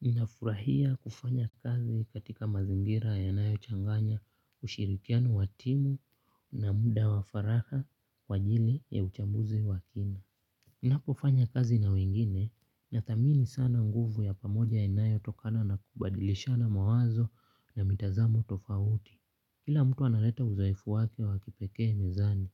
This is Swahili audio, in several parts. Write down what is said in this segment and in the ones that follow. Ninafurahia kufanya kazi katika mazingira yanayochanganya ushirikiano wa timu na muda wa faraha kwa ajili ya uchambuzi wa kina. Ninapofanya kazi na wengine nathamini sana nguvu ya pamoja inayotokana na kubadilishana mawazo na mitazamo tofauti. Kila mtu analeta udhaifu wake wa kipekee mezani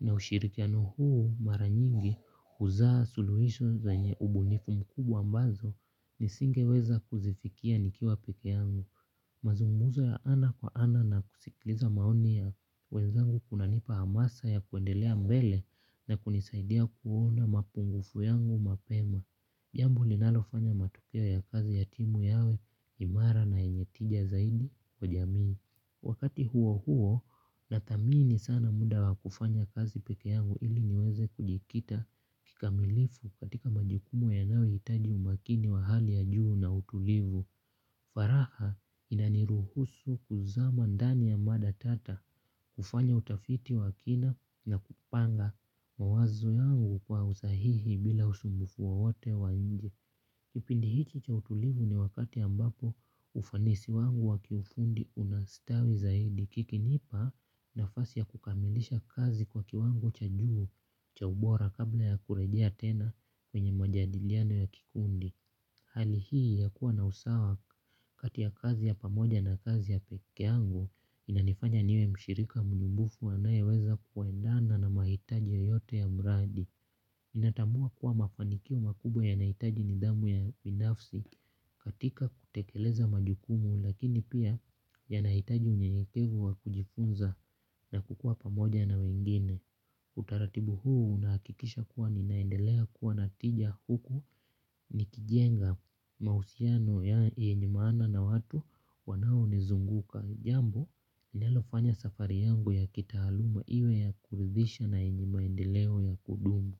na ushirikiano huu mara nyingi huzaa suluhiso zenye ubunifu mkubwa ambazo nisingeweza kuzifikia nikiwa pekee yangu. Mazungumzo ya ana kwa ana na kusikliza maoni ya wenzangu kunanipa hamasa ya kuendelea mbele na kunisaidia kuona mapungufu yangu mapema. Jambo linalofanya matokeo ya kazi ya timu yawe imara na yenye tija zaidi kwa jamii. Wakati huo huo, nathamini sana muda wa kufanya kazi pekee yangu ili niweze kujikita kikamilifu katika majukumu yanayohitaji umakini wa hali ya juu na utulivu. Faraha inaniruhusu kuzama ndani ya mada tata kufanya utafiti wa kina na kupanga mawazo yangu kwa usahihi bila usumbufu wowote wa nje. Kipindi hichi cha utulivu ni wakati ambapo ufanisi wangu wa kiufundi unastawi zaidi kikinipa nafasi ya kukamilisha kazi kwa kiwango cha juu cha ubora kabla ya kurejea tena kwenye majadiliano ya kikundi. Hali hii ya kuwa na usawa kati ya kazi ya pamoja na kazi ya pekee yangu inanifanya niwe mshirika mjumbufu anayeweza kuendana na mahitaji yoyote ya mradi. Natambua kuwa mafanikio makubwa yanahitaji nidhamu ya binafsi katika kutekeleza majukumu lakini pia yanahitaji unyeyekevu wa kujifunza na kukua pamoja na wengine. Utaratibu huu unahakikisha kuwa ninaendelea kuwa na tija huku nikijenga mahusiano yenye maana na watu wanaonizunguka. Jambo linalofanya safari yangu ya kitaaluma iwe ya kuridhisha na yenye maendeleo ya kudumu.